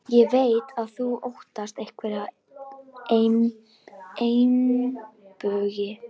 Ég veit að þú óttast einhverja meinbugi.